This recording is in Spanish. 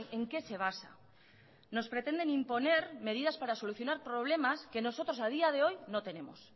en qué se basa nos pretenden imponer medidas para solucionar problemas que nosotros a día de hoy no tenemos